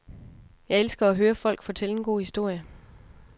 Jeg elsker at høre folk fortælle en god historie.